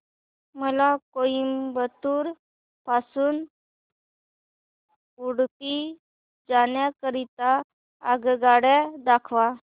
मला कोइंबतूर पासून उडुपी जाण्या करीता आगगाड्या दाखवा